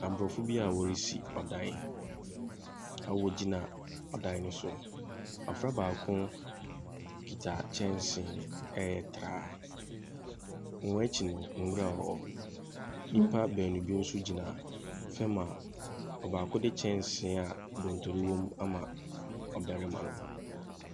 Aborɔfo bi a wɔresi ɔdan. Na wogyina ɔdan ne so. Afra baako kita kyɛnse ɛyɛ traa. Wɔn ekyi no nwura wɔ hɔ. Nipa beenu bi so gyina fɛm a ɔbaako de kyɛnse a dontoro wɔ mu ama ɔbɛrema no.